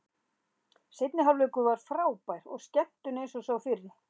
Seinni hálfleikur var frábær skemmtun eins og sá fyrri.